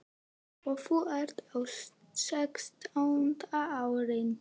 Og þú ert á sextánda árinu.